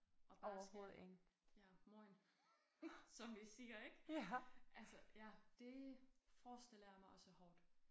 Og bare skal ja mojn som vi siger ik. Altså ja det forestiller jeg mig også er hårdt